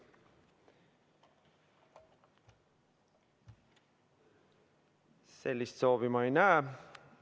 Sellist soovi ma ei näe.